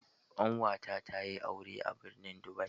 Ƙanwata tayi aure a birnin Dubai.